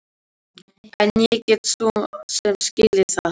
En ég get svo sem skilið það.